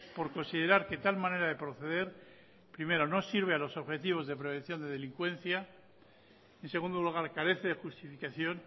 por considerar que tal manera de proceder primero no sirve a los objetivos de prevención de delincuencia en segundo lugar carece de justificación